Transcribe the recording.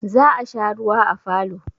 Za a sha ruwa a falo.